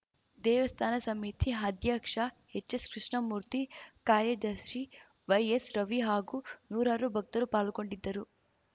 ದೇವಸ್ಥಾನ ಸಮಿತಿ ಅಧ್ಯಕ್ಷ ಎಚ್‌ಎಸ್‌ ಕೃಷ್ಣಮೂರ್ತಿ ಕಾರ್ಯದರ್ಶಿ ವೈಎಸ್‌ ರವಿ ಹಾಗೂ ನೂರಾರು ಭಕ್ತರು ಪಾಲ್ಗೊಂಡಿದ್ದರು